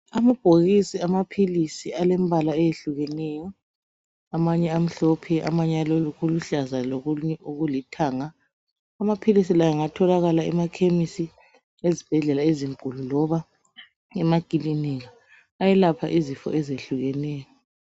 Amabhokisi amaphilisi alembala eyehlukeneyo amanye amhlophe, amanye alokuluhlaza lokulithanga, amaphilisi la engatholakala emakhemisi, ezibhedlela ezinkulu, loba emakilinika. Ayelapha izifo ezihlukeneyo.